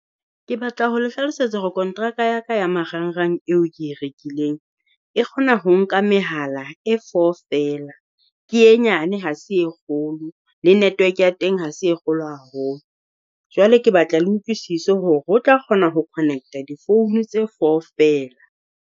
Ke batla ho le hlalosetsa hore kontraka ya ka ya marang-rang eo ke e rekileng. E kgona ho nka mehala e four feela, ke e nyane ha se e kgolo. Le network ya teng ha se e kgolo haholo. Jwale ke batla le utlwisise hore ho tla kgona ho connect di phone tse four feela.